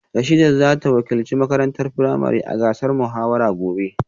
Rashidat za ta wakilci makarantar firamare a gasar muhawara a gobe